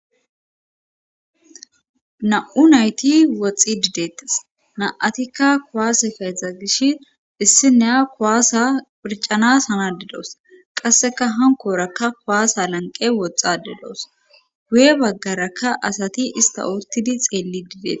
Na'u nayti woxxi didettas na7atikka kuwaase keezdza gish issineya kuwaasa phircanas hana didoos qasseka hankoorakka kuwaasa lanqe woxxa dedoos guye baggaraka asati ista oottidi xeelli dideta.